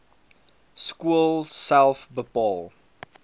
skool self bepaal